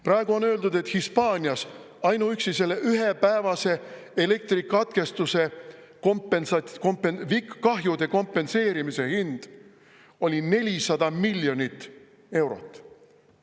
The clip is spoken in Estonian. Praegu on öeldud, et Hispaanias ainuüksi selle ühepäevase elektrikatkestuse kahjude kompenseerimise tasu oli 400 miljonit eurot.